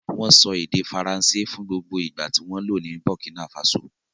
Wọ́n sọ èdè Faransé fún gbogbo ìgbà tí wọ́n lò ní Burkina Faso.